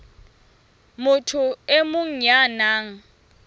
motho e mong ya nang